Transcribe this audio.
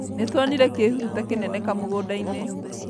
Nĩtuonire kĩhuruta kĩnene kamũgũnda-inĩ